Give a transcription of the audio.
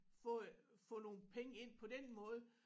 Få få nogle penge ind på den måde